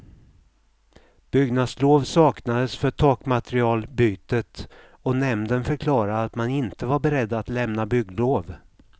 Byggnadslov saknades för takmaterialbytet och nämnden förklarade att man inte var beredd att lämna bygglov.